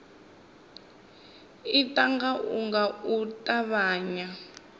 ita ngauralo nga u ṱavhanya